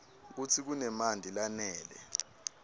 kutsi kunemanti lanele